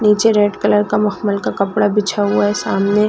निचे red colour का मखमल का कपड़ा बिछा हुआ है सामने--